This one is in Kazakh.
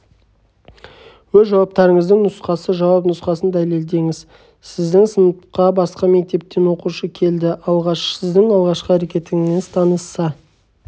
өз жауаптарыңыздың нұсқасы жауап нұсқасын дәлелдеңіз сіздің сыныпқа басқа мектептен оқушы келді сіздің алғашқы әрекетіңіз таныса